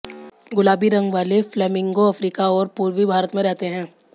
गुलाबी रंग वाले फ्लेमिंगो अफ्रीका और पूर्वी भारत में रहते हैं